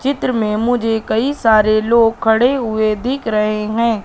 चित्र में मुझे कई सारे लोग खड़े हुए दिख रहे हैं।